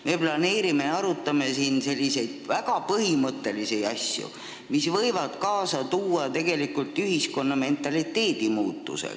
Me planeerime ja arutame siin väga põhimõttelisi samme, mis võivad kaasa tuua ühiskonna mentaliteedi muutuse.